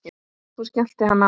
Svo skellti hann á.